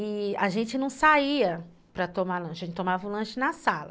E a gente não saía para tomar lanche, a gente tomava o lanche na sala.